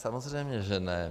Samozřejmě že ne.